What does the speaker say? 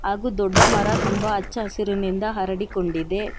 ಹಾಗೂ ದೊಡ್ಡ ಮರ ತುಂಬಾ ಹಚ್ಚ ಹಸುರಿನಿಂದ ಹರಡಿಕೊಂಡಿದೆ.